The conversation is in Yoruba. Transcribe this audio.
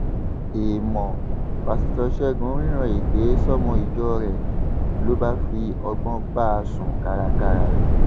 èèmọ páṣítọ ṣẹgun rírán èké sọmọ ìjọ rẹ ló bá fi ọgbọn bá a sún kárakára